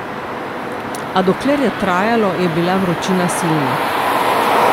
A dokler je trajalo, je bila vročina silna.